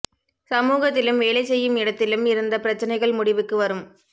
சமூகத்திலும் வேலை செய்யும் இடத்திலும் இருந்த பிரச்சினைகள் முடிவுக்கு வரும்